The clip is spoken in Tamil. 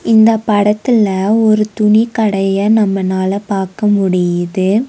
இந்த படத்துல ஒரு துணிக்கடய நம்மனால பாக்க முடியுது.